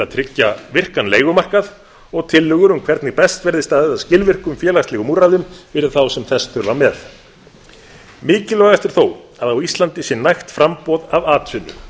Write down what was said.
tryggja virkan leigumarkað og tillögur um hvernig best verði staðið að skilvirkum félagslegum úrræðum fyrir þá sem þess þurfa með mikilvægast er þó að á íslandi sé nægt framboð af atvinnu